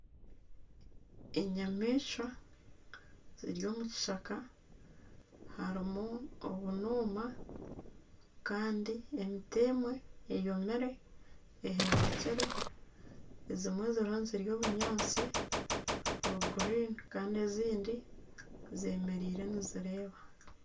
Enyamaishwa ziri omu kishaka harimu obunuma kandi emiti emwe eyomire, ehendekire ezimwe ziriho nizirya obunyaatsi buri guriini kandi ezindi zemereire nizireeba.